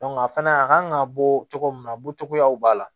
a fana a kan ka bɔ cogo min na bɔtogoyaw b'a la